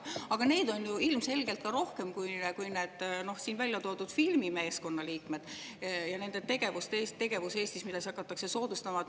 Aga neid on ju ilmselgelt rohkem kui neid siin välja toodud filmimeeskondade liikmeid, kelle tegevust Eestis hakatakse soodustama.